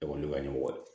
Ekɔli bɛ wa